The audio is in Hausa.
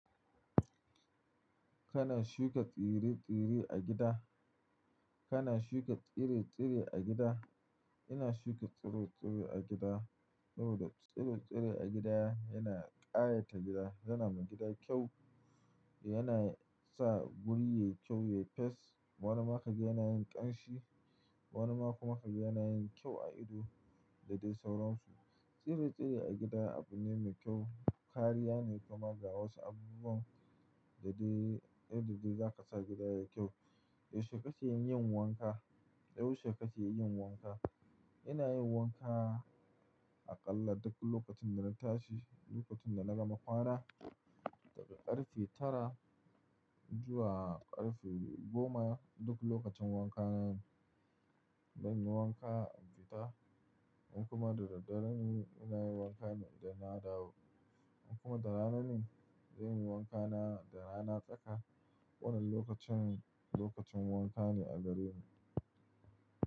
Kana shuka tsire-tsire a gida? Kana shuka tsire-tsire a gida? Ina shuka tsiro-tsiro a gida saboda tsiro-tsire a gida yana ƙayata gida, yana ma gida kyau, yana sa wuri yayi kyau, yayi fes. Wani maka ga yana yin ƙanshi, wani ma kuma kaga yana yin kyau a ido da dai sauransu. Tsire-tsire a gida abu ne mai kyau. Kariya ne kuma ga wasu abubuwan da dai, yanda de zaka sa gida yayi kyau. Yaushe kake yin wanka? Yaushe kake yin wanka? Ina yin wanka aƙalla duk lokacin da na tashi, lokacin da na gama kwana, daga ƙarfe tara zuwa ƙarfe goma. Duk lokacin wanka na, zan yi wanka in fita, in kuma da daddare ne ina yin wanka idan na dawo. In kuma da ranane, zan yi wanka na da rana tsaka. Wannan lokacin, lokacin wanka ne a gareni.